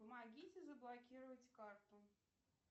помогите заблокировать карту